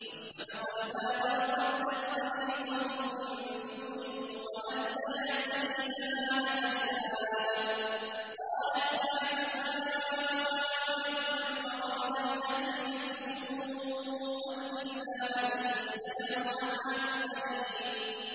وَاسْتَبَقَا الْبَابَ وَقَدَّتْ قَمِيصَهُ مِن دُبُرٍ وَأَلْفَيَا سَيِّدَهَا لَدَى الْبَابِ ۚ قَالَتْ مَا جَزَاءُ مَنْ أَرَادَ بِأَهْلِكَ سُوءًا إِلَّا أَن يُسْجَنَ أَوْ عَذَابٌ أَلِيمٌ